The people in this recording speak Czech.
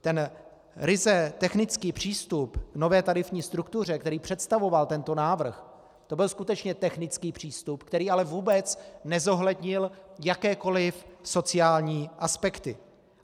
Ten ryze technický přístup k nové tarifní struktuře, který představoval tento návrh, to byl skutečně technický přístup, který ale vůbec nezohlednil jakékoliv sociální aspekty.